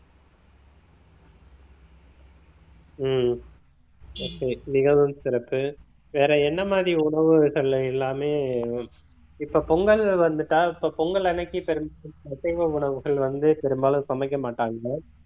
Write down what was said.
உம் okay மிகவும் சிறப்பு வேற என்ன மாதிரி உணவுகள்ல எல்லாமே இப்ப பொங்கல்னு வந்துட்டா இப்ப பொங்கல் அன்னைக்கு அசைவ உணவுகள் வந்து பெரும்பாலும் சமைக்க மாட்டாங்க